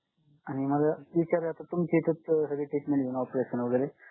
आणि मला विचारायचं तुमच्या इथ सगळी treatment operation वगैरे